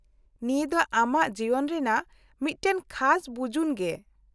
-ᱱᱤᱭᱟᱹ ᱫᱚ ᱟᱢᱟᱜ ᱡᱤᱭᱚᱱ ᱨᱮᱭᱟᱜ ᱢᱤᱫᱴᱟᱝ ᱠᱷᱟᱥ ᱵᱩᱡᱩᱱ ᱜᱮ ᱾